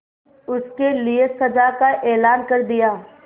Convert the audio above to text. उसके लिए सजा का ऐलान कर दिया